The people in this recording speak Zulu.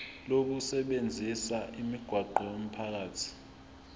lokusebenzisa imigwaqo yomphakathi